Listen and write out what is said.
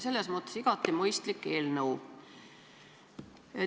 Selles mõttes igati mõistlik eelnõu.